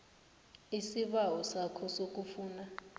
isibawo sakho sokufuna